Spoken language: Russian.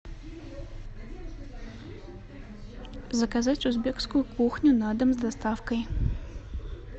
заказать узбекскую кухню на дом с доставкой